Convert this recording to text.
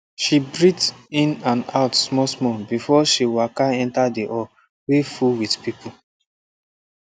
she breathe in and out smallsmall before she waka enter the hall wey full with people